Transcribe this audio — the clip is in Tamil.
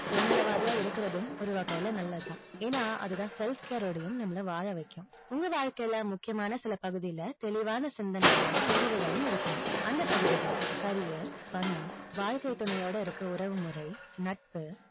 சுயநலவாதியா இருக்கிறதும், ஒரு வகைல நல்லது தான். ஏன்னா, அதுதான் self care டயும் நம்மள வாழ வைக்கும். உங்க வாழ்க்கையில முக்கியமான சில பகுதில, தெளிவான சிந்தனைகளும், முடிவுகளும் இருக்கணும். அந்த பகுதிகள் career பணம், வாழ்க்கைத் துணையோட இருக்க உறவுமுறை, நட்பு,